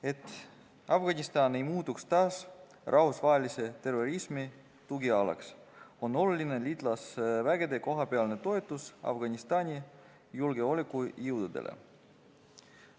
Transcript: Et Afganistan ei muutuks taas rahvusvahelise terrorismi tugialaks, on tähtis liitlasvägede kohapealne toetus Afganistani julgeolekujõududele.